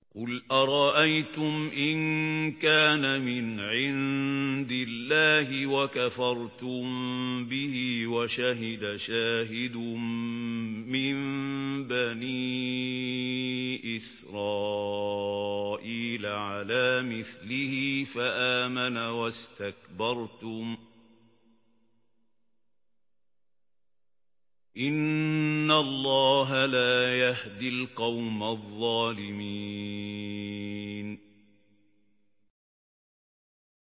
قُلْ أَرَأَيْتُمْ إِن كَانَ مِنْ عِندِ اللَّهِ وَكَفَرْتُم بِهِ وَشَهِدَ شَاهِدٌ مِّن بَنِي إِسْرَائِيلَ عَلَىٰ مِثْلِهِ فَآمَنَ وَاسْتَكْبَرْتُمْ ۖ إِنَّ اللَّهَ لَا يَهْدِي الْقَوْمَ الظَّالِمِينَ